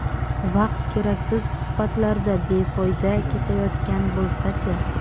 Vaqt keraksiz suhbatlarda befoyda ketayotgan bo‘lsa-chi?